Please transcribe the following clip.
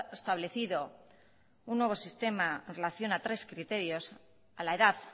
establecido un nuevo sistema en relación a tres criterios a la edad